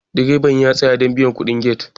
direban ya tsaya don biyan kudin get